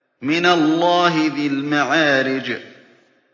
مِّنَ اللَّهِ ذِي الْمَعَارِجِ